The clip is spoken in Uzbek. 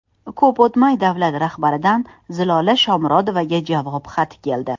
Ko‘p o‘tmay, davlat rahbaridan Zilola Shomurodovaga javob xati keldi.